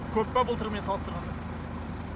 көп па былтырмен салыстырғанда